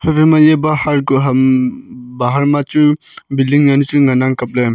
haiphai ma e bahar ku ham bahar ma chu building yan chu ngan ang kaple.